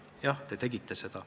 Jah, te tegite seda.